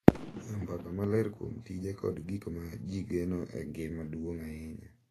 Goyo mbaka maler kuom tije kod gik ma ji geno en gima duong’ ahinya